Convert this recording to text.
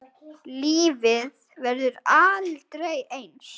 Lífið verður aldrei eins.